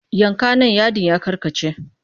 Yanka nan yadin ya karkace!